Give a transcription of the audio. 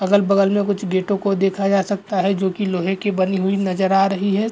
अगल-बगल में कुछ गेटों को देखा जा सकता है जो कि लोहे की बनी हुई नजर आ रही है।